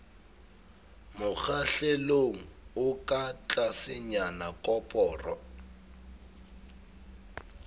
mokgahlelong o ka tlasenyana koporo